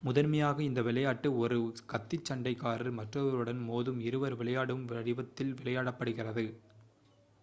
முதன்மையாக இந்த விளையாட்டு ஒருone கத்திச் சண்டைக் காரர் மற்றொருவருடன் மோதும் இருவர் விளையாடும் வடிவத்தில் விளையாடப்படுகிறது